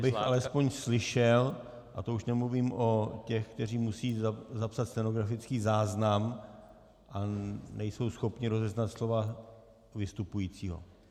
Abych alespoň slyšel, a to už nemluvím o těch, kteří musí zapsat stenografický záznam a nejsou schopni rozeznat slova vystupujícího.